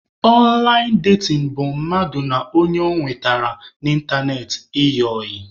Ọnlaịn datin bụ mmadụ na ọnye ọ nwetara n'ịntanetị ịyị ọyị